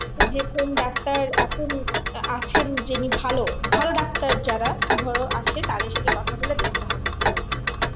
যে কোন ডাক্তার এখন আছেন যিনি ভালো ভালো ডাক্তার যারা ধরো আছে তাদের সাথে কথা বলে দেখতে হবে আমাদেরকে